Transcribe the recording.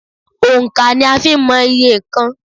Òńkà ni a fi ń mọ iye nnkan.